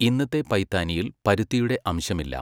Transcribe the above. ഇന്നത്തെ പൈത്താനിയിൽ പരുത്തിയുടെ അംശമില്ല.